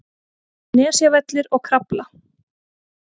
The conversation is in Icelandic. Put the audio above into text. Nesjavellir og Krafla.